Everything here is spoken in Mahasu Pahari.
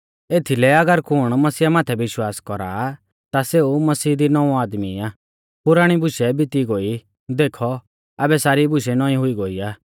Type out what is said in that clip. एथीलै अगर कुण मसीहा माथै विश्वास कौरा आ ता सेऊ मसीह दी नौंवौ आदमी आ पुराणी बुशै बिती गोई देखौ आबै सारी बुशै नौईं हुई गोई आ